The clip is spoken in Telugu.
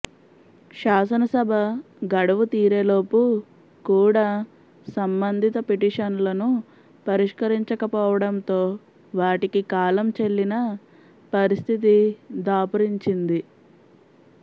శాసనసభ గడువు తీరేలోపు కూడా సంబంధిత పిటిషన్లను పరిష్కరించకపోవడంతో వాటికి కాలం చెల్లిన పరిస్థితి దాపురించింది